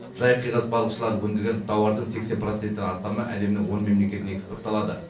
жайық қиғаш балықшылары өндірген тауардың сексен проценттен астамы әлемнің он мемлекетіне экспортталады